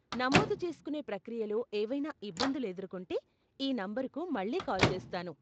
నమోదు చేస్కునే ప్రక్రియలో ఏవైనా ఇబ్బందులు ఎదుర్కొంటే, ఈ నంబరుకు మళ్ళీ కాల్ చేస్తాను.